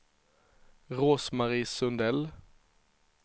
Rose-Marie Sundell